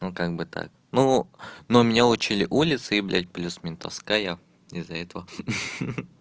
ну как бы так ну ну меня учили улицы и блядь плюс ментовская из-за этого